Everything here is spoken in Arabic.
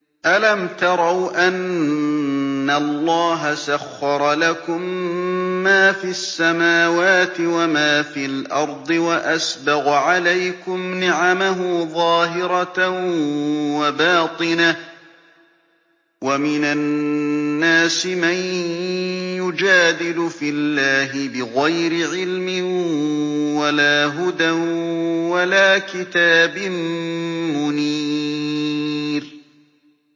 أَلَمْ تَرَوْا أَنَّ اللَّهَ سَخَّرَ لَكُم مَّا فِي السَّمَاوَاتِ وَمَا فِي الْأَرْضِ وَأَسْبَغَ عَلَيْكُمْ نِعَمَهُ ظَاهِرَةً وَبَاطِنَةً ۗ وَمِنَ النَّاسِ مَن يُجَادِلُ فِي اللَّهِ بِغَيْرِ عِلْمٍ وَلَا هُدًى وَلَا كِتَابٍ مُّنِيرٍ